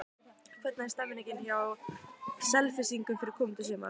Hvernig er stemmingin hjá Selfyssingum fyrir komandi sumar?